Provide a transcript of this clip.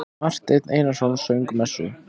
Marteinn Einarsson söng messu.